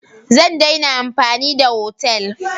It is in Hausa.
Zan daina amfani da otal.